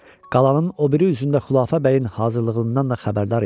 Qalanın o biri üzündə Xülafə bəyin hazırlığından da xəbərdar idi.